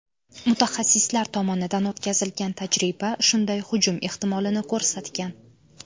Mutaxassislar tomonidan o‘tkazilgan tajriba shunday hujum ehtimolini ko‘rsatgan.